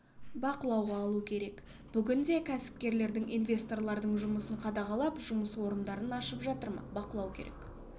бақылауға алу керек бүгінде кәсіпкерлердің инвесторлардың жұмысын қадағалап жұмыс орындарын ашып жатыр ма бақылау керек